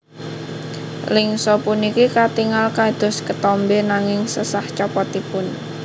Lingsa puniki katingal kados ketombé nanging sesah copotipun